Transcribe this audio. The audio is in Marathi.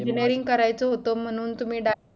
engineering करावच होता म्हणून तुम्ही डा